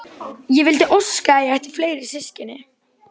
Ég vildi óska að ég ætti fleiri systkini.